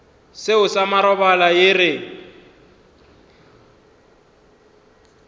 seo sa marobalo re ye